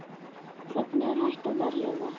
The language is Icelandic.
Hvernig er hægt að verja það?